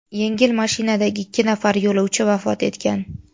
Yengil mashinadagi ikki nafar yo‘lovchi vafot etgan.